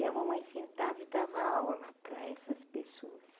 E a mamãe sentava e dava aula para essas pessoas.